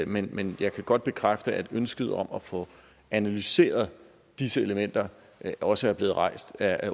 men men jeg kan godt bekræfte at ønsket om at få analyseret disse elementer også er blevet rejst af